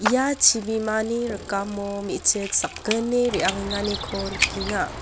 ia chibimani rikamo me·chik sakgni re·angenganiko nikenga.